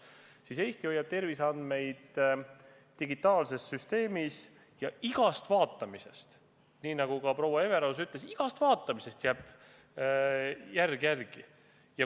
Seevastu Eesti hoiab terviseandmeid digitaalses süsteemis ja igast vaatamisest – nii nagu proua Everaus ütles – jääb jälg järele.